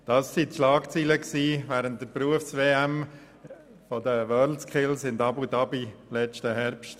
Dies waren die Schlagzeilen während der Berufs-WM der WorldSkills in Abu Dhabi diesen Herbst.